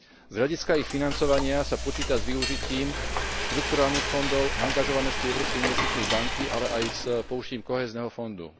Z hľadiska ich financovania sa počíta s využitím štrukturálnych fondov, angažovanosti Európskej investičnej banky, ale aj s použitím kohézneho fondu.